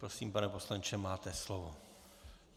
Prosím, pane poslanče, máte slovo.